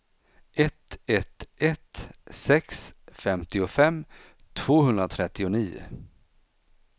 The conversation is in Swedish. ett ett ett sex femtiofem tvåhundratrettionio